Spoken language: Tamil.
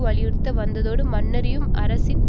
வலியுறுத்தி வந்ததோடு மன்னரை அரசின்